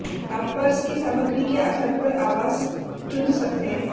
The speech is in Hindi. आप पर्स की सामग्री के आधार पर आवास चुन सकते हैं